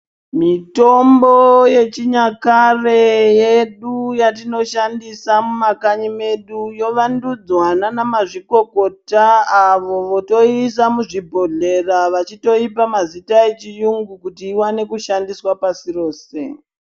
Mitombo yechinyakare yedu yatinoshandisa mumakanyi mwedu yovandudzwa naanamazvikokota avo votoiisa mumabhodhleya vachitoipa mazita echiyungu kuti iwane kushandiswa pasi rose.